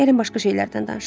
Gəlin başqa şeylərdən danışaq.